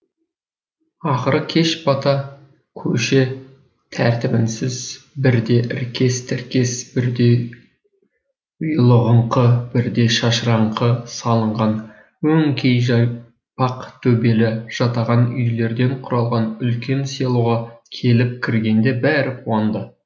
ақыры кеш бата көше тәртібінсіз бірде іркес тіркес бірде ұйлығыңқы бірде шашыраңқы салынған өңкей жайпақ төбелі жатаған үйлерден құралған үлкен селоға келіп кіргенде бәрі қуанды